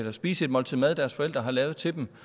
at spise et måltid mad deres forældre har lavet til dem